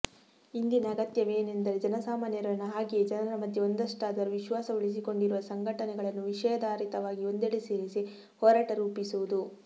ಇಂದಿನ ಅಗತ್ಯವೇನೆಂದರೆ ಜನಸಾಮಾನ್ಯರನ್ನು ಹಾಗೆಯೇ ಜನರ ಮಧ್ಯೆ ಒಂದಷ್ಟಾದರೂ ವಿಶ್ವಾಸ ಉಳಿಸಿಕೊಂಡಿರುವ ಸಂಘಟನೆಗಳನ್ನು ವಿಷಯಾಧಾರಿತವಾಗಿ ಒಂದೆಡೆ ಸೇರಿಸಿ ಹೋರಾಟ ರೂಪಿಸುವುದು